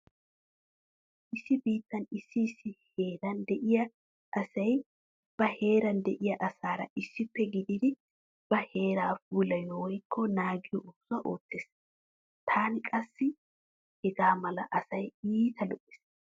Issi biittan issi issi heeean de'iya asay ba heeran diya asaara issippe gididi ba heeraa puulayiya woykko naagiya oosuwa oottees. Tana qassi hega mala asay iita lo'ees.